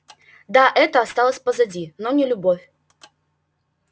да это осталось позади но не любовь